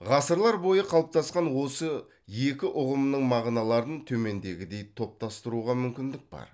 ғасырлар бойы қалыптасқан осы екі ұғымның мағыналарын төмендегідей топтастыруға мүмкіндік бар